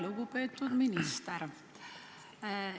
Lugupeetud minister!